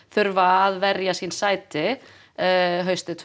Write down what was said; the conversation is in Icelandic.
þurfa að verja sín sæti tvö